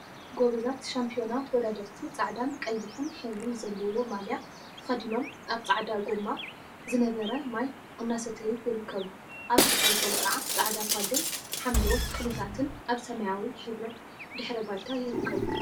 ጎበዛት ሻምፒዮና ተወዳደርቲ ጻዕዳን ቀይሕን ሕብሪ ዘለዎ ማልያ ተከዲኖም ኣብ ጻዕዳ ጎማ ዝነብረ ማይ እናሰተዩ ይርከቡ። ኣብ ድሕሪቶም ከዓ ጻዕዳ ፓሎን ሓምለዎት ተክሊታትን ኣብ ስማያዊ ሕብሪ ድሕረ ባይታ ይርከቡ።